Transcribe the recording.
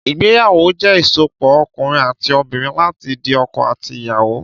Ìgbẹyàwó jẹ ìsópọ̀ òkúnrin àtí òbínrìn làtí di ọkọ àtí Ìyàwó